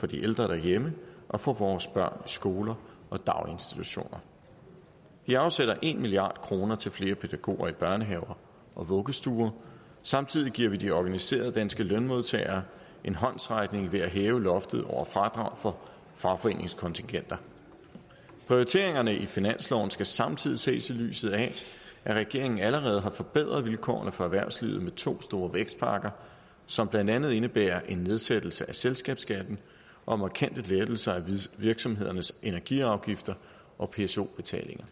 de ældre derhjemme og for vores børn skoler og daginstitutioner vi afsætter en milliard kroner til flere pædagoger i børnehaver og vuggestuer og samtidig giver vi de organiserede danske lønmodtagere en håndsrækning ved at hæve loftet over fradraget for fagforeningskontingenter prioriteringerne i finansloven skal samtidig ses i lyset af at regeringen allerede har forbedret vilkårene for erhvervslivet med to store vækstpakker som blandt andet indebærer en nedsættelse af selskabsskatten og markante lettelser af virksomhedernes energiafgifter og pso betalinger